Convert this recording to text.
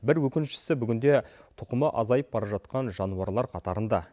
бір өкініштісі бүгінде тұқымы азайып бара жатқан жануарлар қатарында